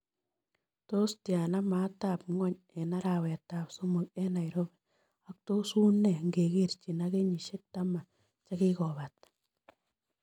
Tos' tyana maatab ng'wony eng' arawetab somok eng' nairobi ak tos' uu nee ngekerchin ak kenyisyek taman che kigobata